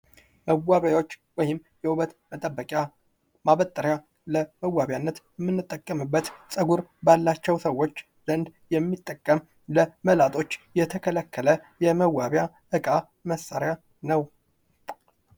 መዋቢያዎች ወይም የውበት መጠበቂያ ። ማበጠሪያ ለመዋቢያነት የምንጠቀምበት ፀጉር ባላቸው ሰዎች ዘንድ የሚጠቀም ለመላጦች የተከለከለ የመዋቢያ እቃ መሳሪያ ነው ።